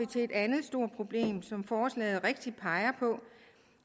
til et andet stort problem som forslaget rigtigt peger på